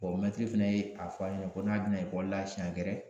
mɛtiri fɛnɛ ye a fɔ an ye ko n'a bɛna ekɔli la siɲɛ wɛrɛ